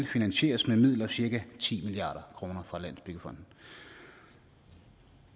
finansieres med midler cirka ti milliard kr fra landsbyggefonden